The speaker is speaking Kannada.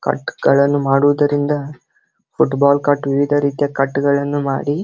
ಕಟ್ ಗಳನ್ನು ಮಾಡುವುದರಿಂದ ಫುಟ್ಬಾಲ್ ಕಟ್ ವಿವಿಧ ರೀತಿಯ ಕಟ್ ಗಳನ್ನು ಮಾಡಿ --